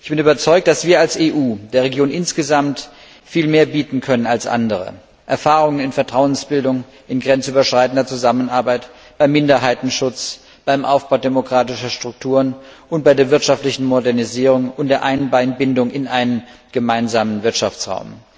Ich bin überzeugt, dass wir als EU der Region insgesamt viel mehr bieten können als andere Erfahrungen in Vertrauensbildung, in grenzüberschreitender Zusammenarbeit, beim Minderheitenschutz, beim Aufbau demokratischer Strukturen und bei der wirtschaftlichen Modernisierung und der Einbindung in einen gemeinsamen Wirtschaftsraum.